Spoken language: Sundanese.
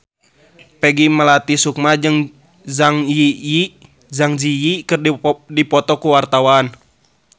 Peggy Melati Sukma jeung Zang Zi Yi keur dipoto ku wartawan